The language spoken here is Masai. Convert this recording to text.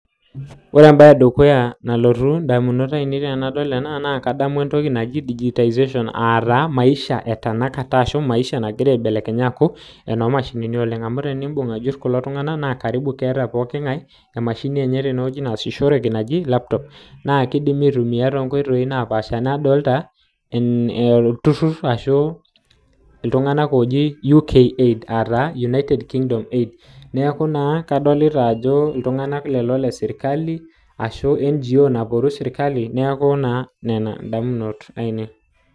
ore taa entoki nalotu indamunot ainei tenadol ena naa digitazation aa taa maisha etanakata nagira aibelekenya enaa enoo mashinini naaji laptops naa kadoolta ajo keeta olturur laajo oloporu sirkali loosita ena baye